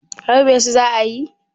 harbe su za a yi?